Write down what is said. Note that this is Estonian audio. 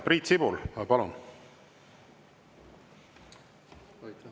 Priit Sibul, palun!